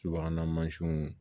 Subahana mansinw